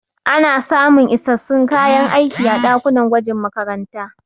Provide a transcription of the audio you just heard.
Ana samun isassun kayan aiki a ɗakunan gwajin makarantu.